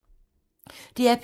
DR P2